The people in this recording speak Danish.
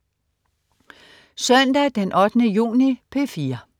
Søndag den 8. juni - P4: